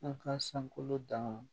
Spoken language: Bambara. An ka sankolo dan na